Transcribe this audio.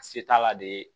Se t'a la de